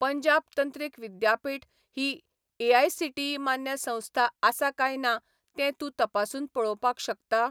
पंजाब तंत्रीक विद्यापीठ ही एआयसीटीई मान्य संस्था आसा काय ना तें तूं तपासून पळोवपाक शकता?